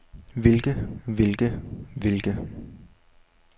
hvilke hvilke hvilke